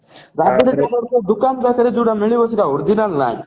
ଦୁକାନ ଯାକରେ ଯୋଉ ଗୁଡା ମିଳିବ ସେଟା original ନାହିଁ